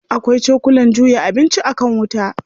Akwai cokulan juya abinci a kan wuta.